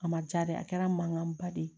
A ma ja de a kɛra mankanba de ye